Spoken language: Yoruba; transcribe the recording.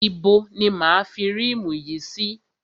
Ibo ni máa a fi rímù yìí sí?